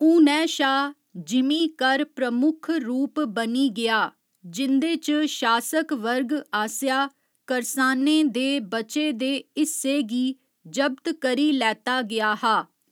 हुनै शा, जिमीं कर प्रमुख रूप बनी गेआ जिं'दे च शासक वर्ग आसेआ करसानें दे बचे दे हिस्से गी जब्त करी लैता गेआ हा।